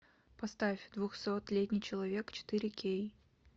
поставь двухсотлетний человек четыре кей